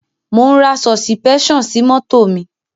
Mò ń ra sọ̀sìpẹ́ṣàn sí mọ́tò mi.